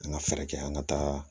An ka fɛɛrɛ kɛ an ka taa